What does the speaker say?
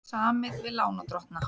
Samið við lánardrottna